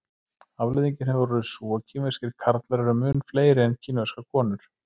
Afleiðingin hefur orðið sú að kínverskir karlar eru mun fleiri en kínverskar konur.